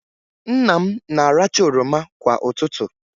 Nna m na-aracha oroma kwa ụtụtụ.